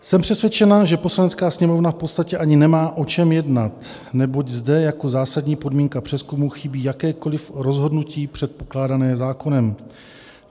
Jsem přesvědčena, že Poslanecká sněmovna v podstatě ani nemá o čem jednat, neboť zde jako zásadní podmínka přezkumu chybí jakékoliv rozhodnutí předpokládané zákonem.